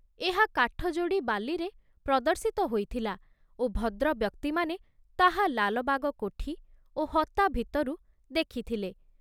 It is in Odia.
ଏହା କାଠଯୋଡ଼ି ବାଲିରେ ପ୍ରଦର୍ଶିତ ହୋଇଥିଲା ଓ ଭଦ୍ରବ୍ୟକ୍ତିମାନେ ତାହା ଲାଲବାଗ କୋଠି ଓ ହତା ଭିତରୁ ଦେଖିଥିଲେ।